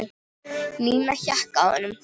Nína hékk á honum.